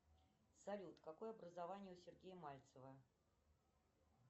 салют какое образование у сергея мальцева